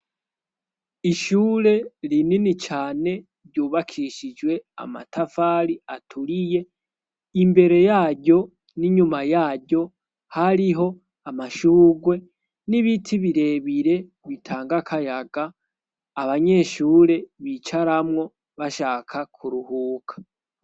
Ishure rinini cane ryubakishijwe amatafari aturiye imbere yaryo n'inyuma yaryo hariho amashurwe n'ibiti birebire bitanga akayaga abanyeshure bicaramwo bashaka ku ruhuba k.